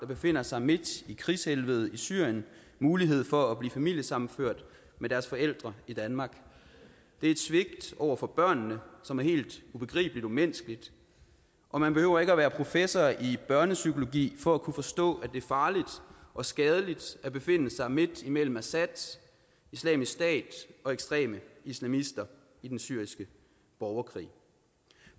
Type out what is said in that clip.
befinder sig midt i krigshelvedet i syrien mulighed for at blive familiesammenført med deres forældre i danmark det er et svigt over for børnene som er helt ubegribelig umenneskeligt og man behøver ikke at være professor i børnepsykologi for at kunne forstå at det er farligt og skadeligt at befinde sig midt imellem assad islamisk stat og ekstreme islamister i den syriske borgerkrig